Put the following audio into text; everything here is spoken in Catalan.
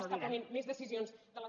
està prenent més decisions de les